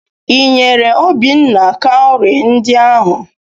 Ị nyere Obinna kaụrị ndị ahụ?